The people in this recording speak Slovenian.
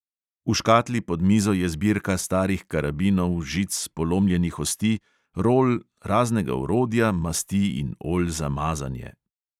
V škatli pod mizo je zbirka starih karabinov, žic, polomljenih osti, rol, raznega orodja, masti in olj za mazanje ...